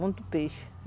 Muito peixe.